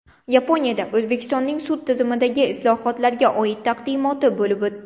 Yaponiyada O‘zbekistonning sud tizimidagi islohotlarga oid taqdimoti bo‘lib o‘tdi.